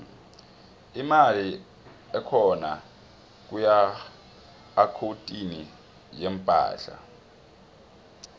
imali ehkona kuakhuwuntini yeempahla